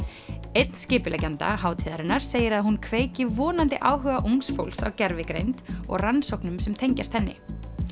einn skipuleggjenda hátíðarinnar segir að hún kveiki vonandi áhuga ungs fólks á gervigreind og rannsóknum sem tengjast henni